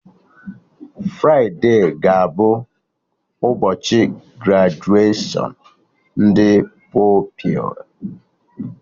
Fride ga-abụ ụbọchị grajuashọn ndị Pupilụ